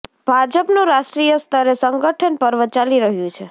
ભાજપનું રાષ્ટ્રીય સ્તરે સંગઠન પર્વ ચાલી રહ્યું છે